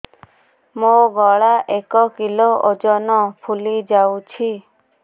ମୋ ଗଳା ଏକ କିଲୋ ଓଜନ ଫୁଲି ଯାଉଛି